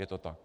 Je to tak?